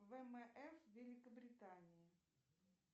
вмф великобритании